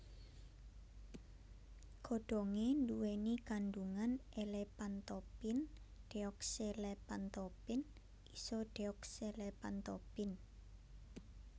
Godhonge nduweni kandhungan elephantopin deoxyelephantopin isodeoxyelephantopin